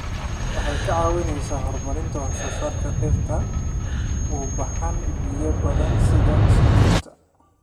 Waxay ka caawisaa horumarinta wax soo saarka dhirta u baahan biyo badan sida sonkorta.